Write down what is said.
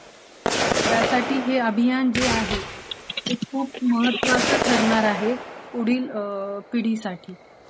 त्यासाठी हे अभियान जे आहे ते खूप मदत्त्वाचं ठरणार आहे, पुढील पिढीसाठी